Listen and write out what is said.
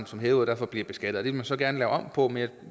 som hævet og derfor bliver beskattet det vil man så gerne lave om på men